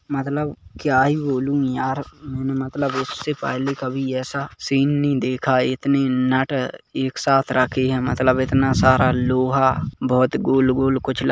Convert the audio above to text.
मतलब क्या ही बोलूं यार मतलब उसे पहले कभी ऐसा सीन नहीं देखा इतनी नट एक सात रखी है मतलब इतना सारा लोहा बहुत गोल गोल कुछ --